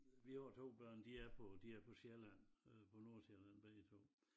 Vi har 2 børn de er på de er på Sjælland på Nordsjælland begge 2